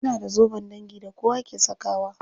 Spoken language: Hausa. Suna da zoben dangi da kowa ke sakawa.